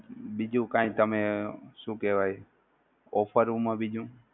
બીજુ કઈ તમે શું કેહવાય ઓફરોમાં બીજુ?